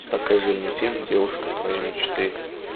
покажи мне фильм девушка твоей мечты